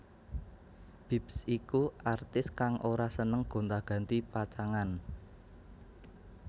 Bips iku artis kang ora seneng gonta ganti pacangan